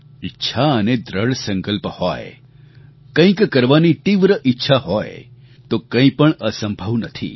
ઈચ્છા અને દૃઢ સંકલ્પ હોય કંઈક કરવાની તીવ્ર ઈચ્છા હોય તો કંઈ પણ અસંભવ નથી